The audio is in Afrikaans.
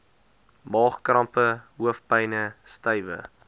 maagkrampe hoofpyne stywe